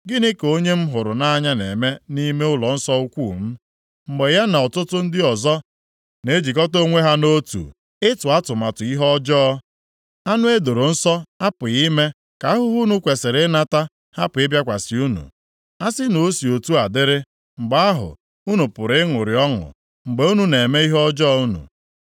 “Gịnị ka onye m hụrụ nʼanya na-eme nʼime ụlọnsọ ukwuu m, mgbe ya na ọtụtụ ndị ọzọ na-ejikọta onwe ha nʼotu ịtụ atụmatụ ihe ọjọọ? Anụ e doro nsọ apụghị ime ka ahụhụ unu kwesiri ịnata hapụ ịbịakwasị unu. A sị na o si otu a dịrị, mgbe ahụ, unu pụrụ ịṅụrị ọṅụ mgbe unu na-eme ihe ọjọọ unu.”